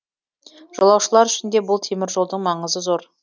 жолаушылар үшін де бұл теміржолдың маңызы зор